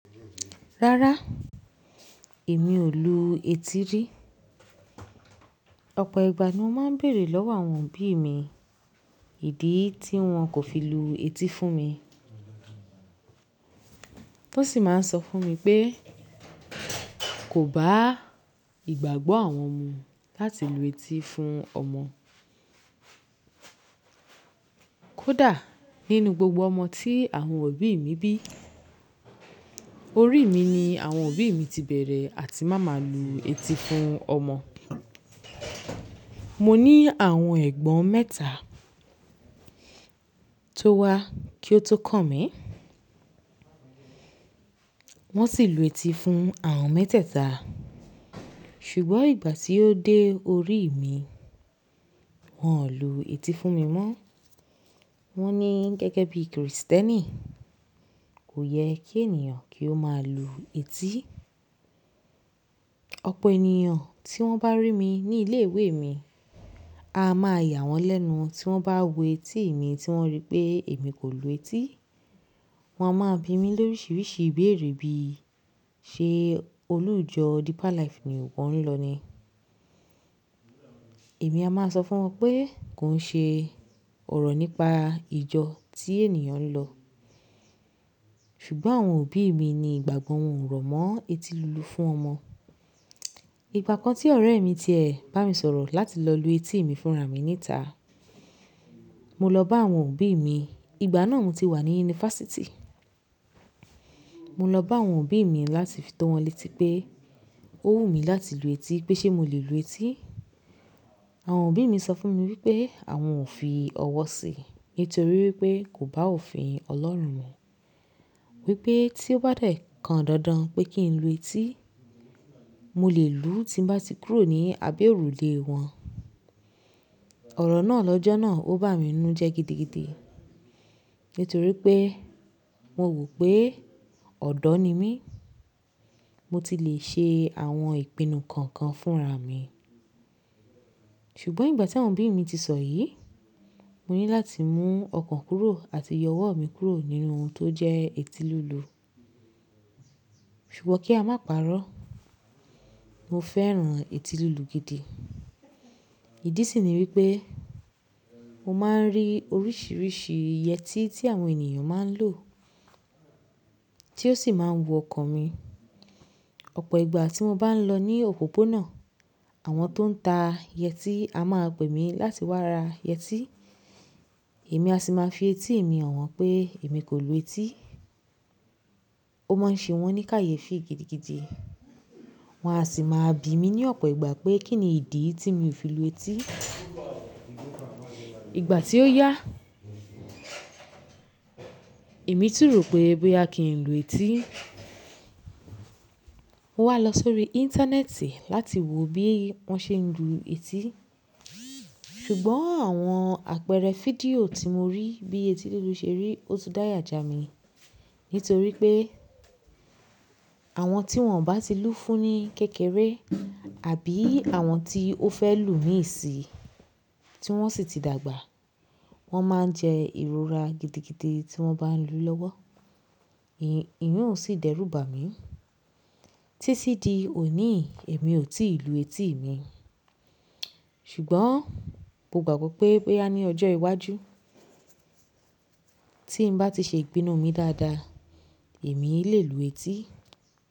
Rárá, èmi ò lu etí rí. Ọ̀pọ̀ ìgbà ni mo máa ń bèèrè lọ́wọ́ àwọn òbí mi ìdí tí wọ́n kò fi lu etí fún mi. Wọ́n sì máa ń sọ fún mi pé, kò bá ìgbàgbọ́ àwọn mu láti lu etí fún ọmọ. Kódà nínú gbogbo ọmọ tí àwọn òbí mi bí, orí mi ni àwọn òbí mi ti bẹ̀rẹ̀ àti máa ma lu etí fún ọmọ. Mo ní àwọn ẹ̀gbọ́n mẹ́ta tó wá kí ó tó kàn mí, wọ́n sì lu etí fún àwọn mẹ́tẹ̀ta. Ṣùgbọ́n ìgbà tí ó dé orí mi, wọn ò lu etí fún mi mọ́. Wọ́n ní gẹ́gẹ́ bí Krìstẹ́nì, kò yẹ kí ènìyàn kí ó máa lu etí. Ọ̀pọ̀ ènìyàn tí wọ́n bá rí mi ní ilé ìwé mi, a máa yà wọ́n lẹ́nu tí wọ́n bá wo etí mi tí wọ́n rí pé èmi kò lu etí. Wọn a máa bi mí lóríṣiríṣi ìbéèrè bí, "Ṣé olùjọ Deeper Life ni o n lọ ni?" Èmi a máa sọ fún wọn pé, kò ń ṣe ọ̀rọ̀ nípa ìjọ tí ènìyàn ń lọ. Ṣùgbọ́n àwọn òbí mi ni ìgbàgbọ́ wọn ò rọ̀ mọ́ etí lulu fún ọmọ. Ìgbà kan tí ọ̀rẹ́ mi ti ẹ̀ bá mi sọ̀rọ̀ láti lọ lu etí mi fúnra mi níta, mo lọ bá àwọn òbí mi. Ìgbà náà mo ti wà ní yunifásítì. Mo lọ bá àwọn òbí mi láti fi tó wọn létí pé ó wù mí láti lu etí, pé ṣe mo lè lu etí. Àwọn òbí mi sọ fún mi wípé àwọn ò fi ọwọ́ sí, nítorí wípé kò bá òfin Ọlọ́run mọ̀. Wípé tí ó bá dẹ̀ kan dandan pé kí n lu etí, mo lè lu tí mo bá ti kúrò ní abé òrùlé wọn. Ọ̀rọ̀ náà lọ́jọ́ náà ó bá mi nu jẹ́ gidigidi, nítorí pé mo wò pé ọ̀dọ́ ni mí, mo ti lè ṣe àwọn ìpinnu kọ̀ọ̀kan fúnra mi. Ṣùgbọ́n ìgbà tí àwọn òbí mi ti sọ yìí, mo ní láti mú ọkàn kúrò àti ìyọwọ́ mi kúrò nínú ohun tó jẹ́ etí lulu. Ṣùgbọ́n kí a máa pàrọ́, mo fẹ́ran etí lulu gidi. Ìdí sì ni wípé mo máa ń rí oríṣiríṣi yẹtí tí àwọn ènìyàn máa ń lò tí ó sì máa ń wun ọkàn mi. Ọ̀pọ̀ ìgbà tí mo bá ń lọ ní òpópónà, àwọn tó ń ta yẹtí a máa pè mí láti wá ra yẹtí, èmi a sì máa fi etí mi hàn wọ́n pé èmi kò lu etí. Ó máa ń ṣe wọ́n ní kàyé fì gidigidi. Wọn a sì máa bi mi ní ọ̀pọ̀ ìgbà pé kín ni ìdí tí mi ò fi lu etí. Ìgbà tí ó yá, èmi tìró pé bóyá kì í lu etí. Mo wá lọ sórí íńtánẹ́ẹ̀tì láti wo bí wọ́n ṣe ń lu etí. Ṣùgbọ́n àwọn àpẹẹrẹ fídíò tí mo rí bí etí lulu ṣe rí, ó tú dáya jà mí. Nítorí pé àwọn tí wọ́n ò bá ti lú fún ni kékeré àbí àwọn tí ó fẹ́ lù mí ìsì tí wọ́n sì ti dàgbà, wọ́n máa ń jẹ ìrora gidigidi tí wọ́n bá ń lù ú lọ́wọ́. Iyìǹ ó sì dẹ́rù bà mí. Títí di òní, èmi ò tí ì lu etí mi. Ṣùgbọ́n mo gbàgbọ́ pé ẹbí wa ní ọjọ́ iwájú tí ń bá ti ṣe ìpinnu mi dáadáa, èmi lè lu etí.